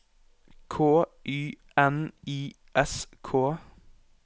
K Y N I S K